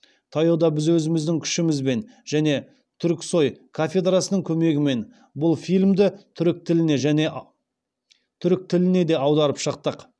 таяуда біз өзіміздің күшімізбен және түркісой кафедрасының көмегімен бұл фильмді түрік тіліне де аударып шықтық